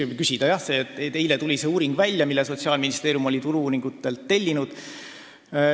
Eile tutvustati tõesti uuringut, mille Sotsiaalministeerium oli Turu-uuringute AS-ilt tellinud.